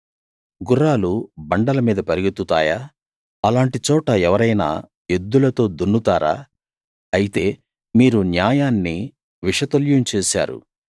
గుర్రాలు బండల మీద పరుగెత్తుతాయా అలాంటి చోట ఎవరైనా ఎద్దులతో దున్నుతారా అయితే మీరు న్యాయాన్ని విషతుల్యం చేశారు